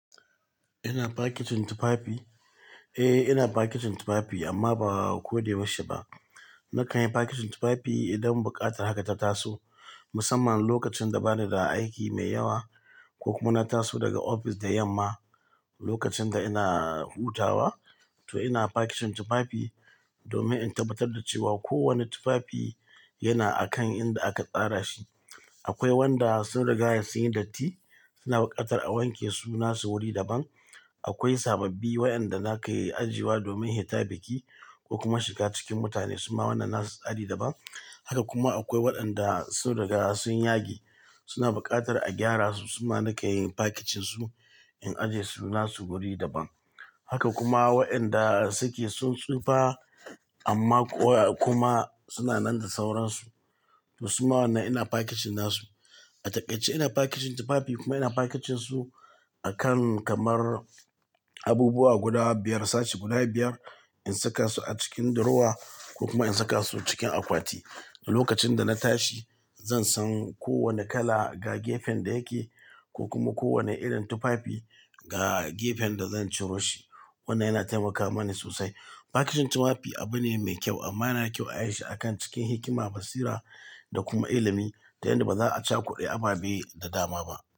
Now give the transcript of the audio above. Ina fakitin tufafi? Eh, ina fakitin tufafi amma ba a ko da yaushe ba. Na kayi fakitin tufafi idan buƙatar haka ta taso, musamman lokacin da ba ni da aiki mai yawa ko kuma na taso daga ofis da yamma. Lokacin da ina hutawa to ina fakitin tufafi domin in tabbatar da cewa kowane tufafi yana a kan inda aka tsara shi. Akwai wanda sun rigaya sun yi datti suna buƙatar a wanke su nasu wuri daban. Akwai sababbi waɗanda na kayi ajiyewa domin hitabai ki ko kuma shiga cikin mutane, su ma wannan na su tsari daban. Haka kuma akwai waɗanda sun rigaya sun yage suna buƙatar a gyara su, su ma na kanyi fakicin su in aje su nasu wuri daban. Haka kuma waɗanda suke sun tsufa amma kuwa kuma suna nan da sauransu to su ma wannan ina fakicin nasu. A taƙaice ina fakicin tufafi kuma ina fakicin su a kan kamar abubuwa guda biyar, sace guda biyar in saka su a cikin durowa ko kuma in saka su cikin akwati. Lokacin da na tashi zan san kowane kala ga gefen da yake ko kuma kowane irin tufafi ga gefen da zan ciro shi. Wannan yana taimakawa mani sosai. Fakicin tufafi abu ne mai kyau amma yana kyau a yi shi a kan cikin hikima, basira da kuma ilimi ta yanda ba za a cha kuɗe aba bai da dama ba.